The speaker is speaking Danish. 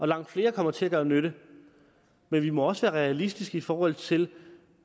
langt flere kommer til at gøre nytte men vi må også være realistiske i forhold til